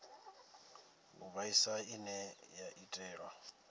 u vhaisa ine ya itelwa